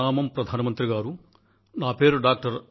ప్రణామం ప్రధానమంత్రి గారూ నా పేరు డా